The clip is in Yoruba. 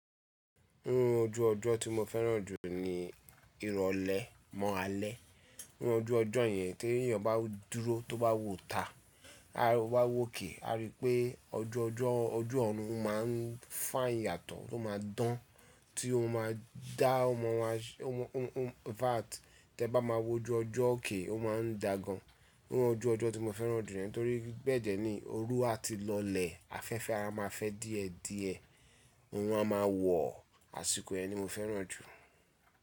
N ojú ọjọ́ tí mo fẹ́ràn jù ni irọ̀lẹ́ mọ́ alẹ́. N ojú ọjọ́ yẹn tí ènìyàn bá dúró tó bá wòó ta, a wá wòkè a rí pé ọjọ́ ọjọ́ oju ọ̀run o má a ń fine yàtọ̀ tó má a dán tí ó má a dá ọmọ wa In fact tí ẹ bá máa wo ojú ọjọ́ òkè o má a ń dà gan. N ojú ọjọ́ tí mo fẹ́ràn jù ni ẹ torí bẹ dẹ ni òru a ti lọlẹ̀, afẹ́fẹ́ a máa fẹ́ díẹ̀ díẹ̀, orun a máa wọ̀, àsìkò yẹn ni mo fẹ́ràn jù.